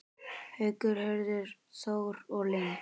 Haukur, Hörður Þór og Linda.